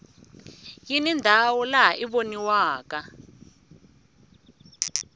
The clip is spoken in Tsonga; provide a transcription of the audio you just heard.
yini ndhawu lawa i voniwaka